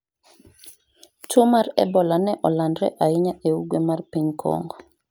tuo mar ebola ne olandore ahinya e ugwe ma piny Kongo